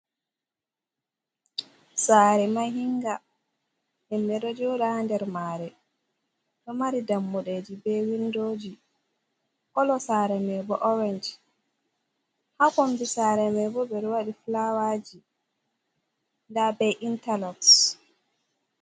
Saare mahinga himɓe ɗo joɗa ha nder mare do mari dammuɗeji be windoji kolo saare maibo orange ha kombi saare mai bo ɓe waɗi fulaawaji nda be intaloxs.